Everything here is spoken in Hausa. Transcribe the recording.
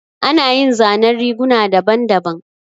Ana yin zanen riguna daban daban